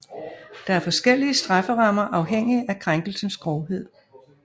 Der er forskellige strafferammer afhængig af krænkelsens grovhed